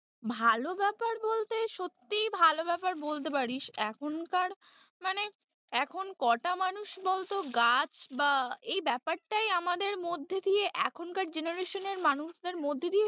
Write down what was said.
ভালো ব্যাপার বলতে সত্যিই ভালো ব্যাপার বলতে পারিস এখনকার মানে এখন কটা মানুষ বলতো গাছ বা এই ব্যাপারটাই আমাদের মধ্যে দিয়ে এখনকার generation এখনকার জেনারসনের মানুষদের মধ্যে দিয়ে ।